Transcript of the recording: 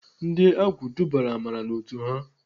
Ndị agwụ dubara Amara n'otu ha.